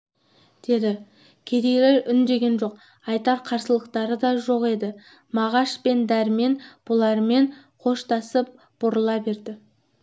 деді кедейлер үндеген жоқ айтар қарсылықтары да жоқ еді мағаш пен дәрмен бұлармен қоштасып бұрыла берді